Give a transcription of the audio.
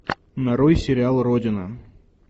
нарой сериал родина